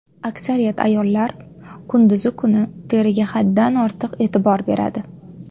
Aksariyat ayollar kunduz kuni teriga haddan ortiq e’tibor beradi.